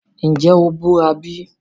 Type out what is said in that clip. Nje o bura bi?